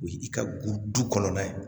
O ye i ka du kɔnɔna ye